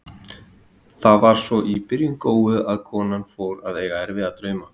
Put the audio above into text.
Það var svo í byrjun góu, að konan fór að eiga erfiða drauma.